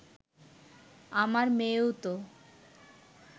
আমার মেয়েও তো